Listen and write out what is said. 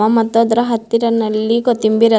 ಅದಾವ್ ಮತ್ತ್ ಅದರ ಹತ್ತಿರ ನೆಲ್ಲಿ ಕೊತ್ತಂಬರಿ ಅದ.